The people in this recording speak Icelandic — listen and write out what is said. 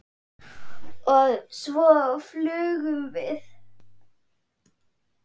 Og svo flugum við.